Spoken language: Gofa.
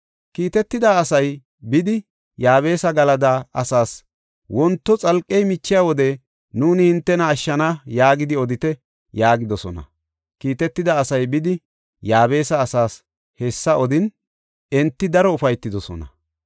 Kiitetida asay, “Bidi Yaabesa Galada asaas, ‘Wonto xalqey michiya wode nuuni hintena ashshana yaagidi odite’ ” yaagidosona. Kiitetida asay bidi, Yaabesa asaas hessa odin, enti daro ufaytidosona.